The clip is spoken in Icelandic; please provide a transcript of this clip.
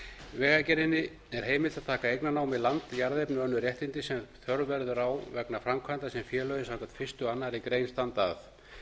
vegagerðinni er heimild að taka eignarnámi land jarðefni og önnur réttindi sem þörf verður á vegna framkvæmda sem félögin samkvæmt fyrstu og annarrar greinar standa